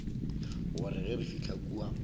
gore ge re fihla kua